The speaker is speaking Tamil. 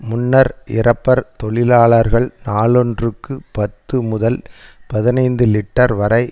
முன்னர் இறப்பர் தொழிலாளர்கள் நாளொன்றுக்கு பத்து முதல் பதினைந்து லீட்டர் வரை